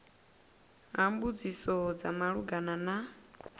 ha mbudziso dza malugana na